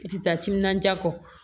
I ti taa timinandiya kɔ